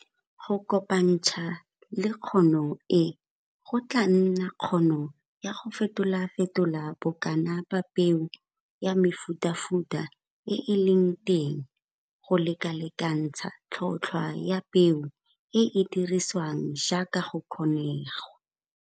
Go kopantsha le kgono e go tlaa nna kgono ya go fetolafetola bokana ba peo ya mefutafuta e e leng teng go lekalekantsha tlhotlhwa ya peo e e dirisiwang jaaka go ka kgonegwa.